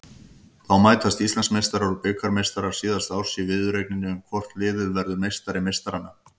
Þá mætast Íslandsmeistarar og bikarmeistarar síðasta árs í viðureigninni um hvort liðið verður meistari meistaranna.